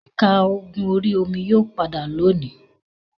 Ẹ̀ka ogun orí-omi yóò padà lónìí.